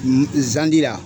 zandira.